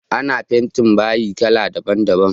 Ana fentin bayi kala daban daban